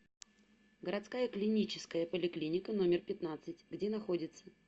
городская клиническая поликлиника номер пятнадцать где находится